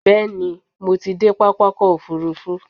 Bẹ́ẹ̀ni, mo ti dé pápákọ̀ òfurufú.